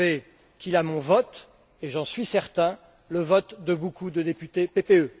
Bové qu'il a mon vote et, j'en suis certain, le vote de beaucoup de députés PPE.